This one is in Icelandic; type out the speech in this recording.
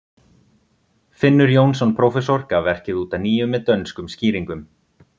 finnur jónsson prófessor gaf verkið út að nýju með dönskum skýringum